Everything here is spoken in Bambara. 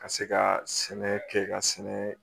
Ka se ka sɛnɛ kɛ ka sɛnɛ